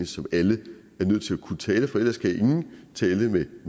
som alle er nødt til at kunne tale for ellers kan ingen tale med